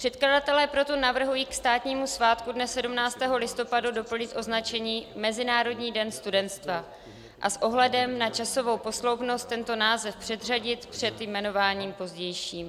Předkladatelé proto navrhují ke státnímu svátku dne 17. listopadu doplnit označení Mezinárodní den studentstva a s ohledem na časovou posloupnost tento název předřadit před jmenováním pozdějším.